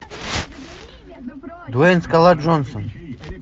дуэйн скала джонсон